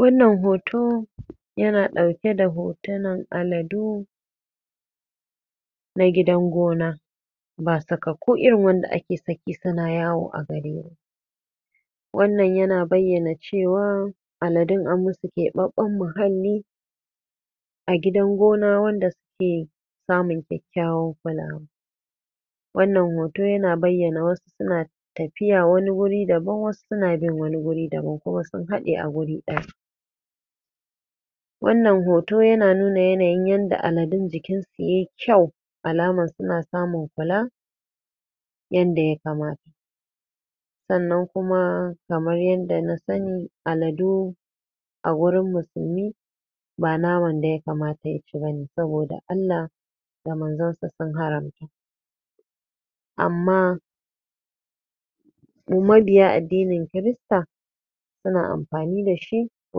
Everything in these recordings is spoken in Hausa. Wannan hoto yana ɗauke da hotunan aladu Na gidan gona ba sakakku irin wanda ake bari ba suna yawo a gari ba Wannan yana bayyana cewar Aladun an yi musu keɓaɓɓen muhali a gidan gona wanda suke samun kulawa Wannan yana bayyana cewar Aladun an yi musu keɓaɓɓen muhali a gidan gona wanda suke samun kulawa Wannan hoto yana bayyana wasu suna tafiya wani wuri daban, wasu suna bin wani wuri daban kuma sun haɗe a wuri ɗaya Wannan hoto yana nuna yanayin yadda aladun jikin su ya yi kyau alamar suna samun kulawa, yadda ya kamata Wannan hoto yana nuna yanayin yadda aladun jikin su ya yi kyau alamar suna samun kulawa, yadda ya kamata Sannan kuma kamar yadda na sani adalu a wurin musulmi ba naman da ya kamata ya ci bane saboda Allah da manzonsa sun haramta amma mabiya addinin kirista suna amfani dashi a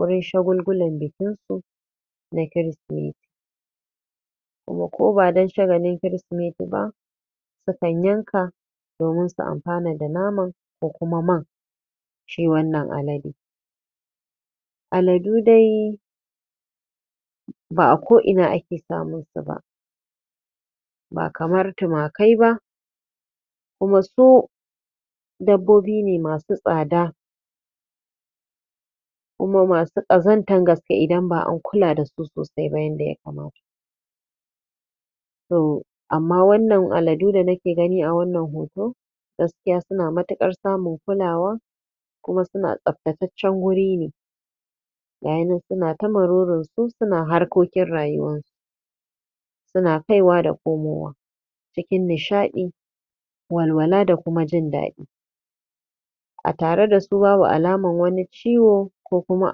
wajen shagulhulan bikin su na kirsimeti kuma ko badan shagalin kirsimeti ba, sukan yanka domin su amfana da nono da kuma man na shi wannan aladen domin su amfana da nono da kuma man na shi wannan aladen domin su amfana da nono da kuma man na shi wannan aladen Aladu dai ba a ko'ina ake samun su ba ba kamar tumakai ba kuma su dabbobi ne masu tsada kuma masu ƙazantar gaske idan ba an kula dasu sosai ba yadda ya kamata amma wannan aladu da nake gani a wannan hoto, gaskiya suna matuƙar samun kulawa kuma suna tsaftacaccen wuri ne gasu nan suna ta walwala da harkokin rayuwar su suna kaiwa da komowa cikin nishaɗi walwala da kuma jin daɗi a tare dasu babu wani alamar wani ciwo ko kuma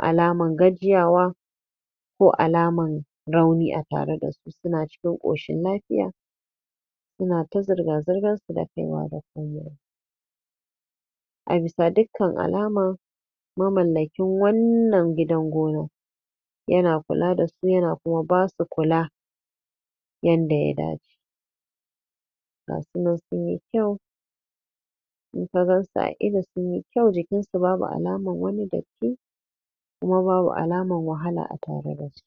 alamar gajiyawa ko alamar rauni a tare dasu, suna cikin koshin lafiya suna ta zirga-zirga suna kaiwa da komowa A bisa dukkan alama mamallakin wannan gidan gona yana kula da su kuma yana kuma basu kula? gasu nan sun yi fes idan ka gansu da ido sun yi kyau, jikin su babu alamar wani datti kuma babu alamar wahala a tare dasu.